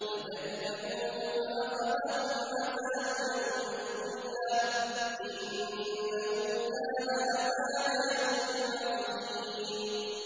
فَكَذَّبُوهُ فَأَخَذَهُمْ عَذَابُ يَوْمِ الظُّلَّةِ ۚ إِنَّهُ كَانَ عَذَابَ يَوْمٍ عَظِيمٍ